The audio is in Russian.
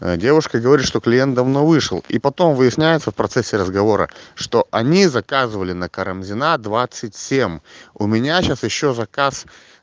девушка говорит что клиент давно вышел и потом выясняется в процессе разговора что они заказывали на карамзина двадцать семь у меня сейчас ещё заказ